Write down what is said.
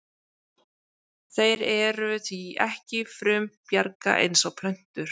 Þeir eru því ekki frumbjarga eins og plöntur.